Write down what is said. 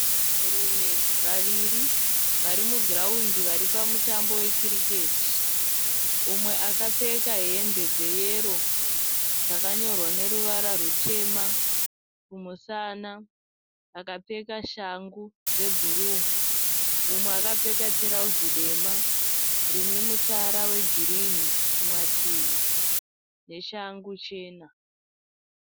Vanhurume vaviri vari mugirawundi vari pamutambo wekiriketi. Umwe akapfeka hembe dzeyero dzakanyorwa neruvara rutema kumusana, akapfeka shangu dzebhuruu. Mumwe akapfeka tirauzi dema rime mutsara wegirini kumativi neshangu chena.